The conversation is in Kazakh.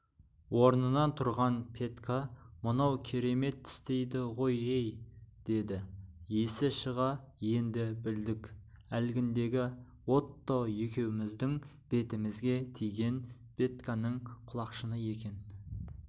орнынан тұрған петька мынау керемет тістейді ғой-ей деді есі шыға енді білдік әлгіндегі отто екеуміздің бетімізге тиген петьканың құлақшыны екен